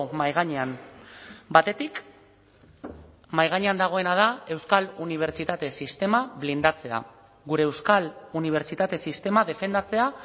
mahai gainean batetik mahai gainean dagoena da euskal unibertsitate sistema blindatzea gure euskal unibertsitate sistema defendatzea